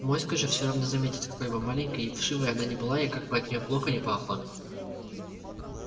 моську же все равно заметят какой бы маленькой и вшивой она ни была и как бы от нее плохо ни пахло